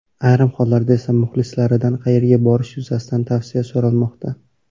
Ayrim hollarda esa muxlislaridan qayerga borish yuzasidan tavsiya so‘ramoqda.